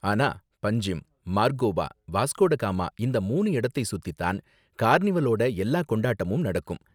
ஆனா பன்ஜிம், மார்கோவா, வாஸ்கோடகாமா இந்த மூணு இடத்தை சுத்தி தான் கார்னிவலோட எல்லா கொண்டாட்டமும் நடக்கும்.